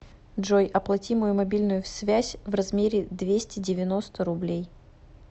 джой оплати мою мобильную связь в размере двести девяносто рублей